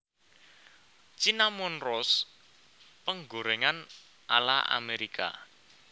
Cinnamon Roast penggorèngan ala Amerika